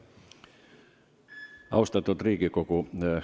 Austatud Riigikogu!